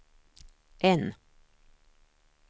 N